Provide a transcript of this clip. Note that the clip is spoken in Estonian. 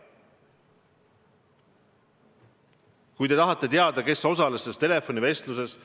Te tahate teada, kes osales selles telefonivestluses.